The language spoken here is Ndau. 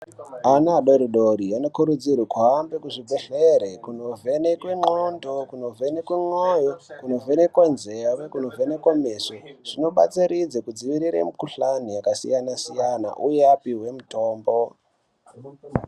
Ana adoridori anokurudzirwa kuhambe kuzvibhedhlere kunovhenekwe ndxondo, kunovhenekwe moyo, kunovhenekwe nzeve, kunovhenekwe meso zvinobatsiridze kudzivirire mukuhlani yakasiyana-siyana uye apihwe mitombo.